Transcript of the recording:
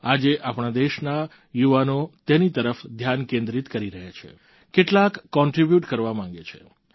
આજે આપણા દેશના યુવાનો તેની તરફ ધ્યાન કેન્દ્રિત કરી રહ્યા છે કેટલાક કોન્ટ્રિબ્યુટ કરવા માંગે છે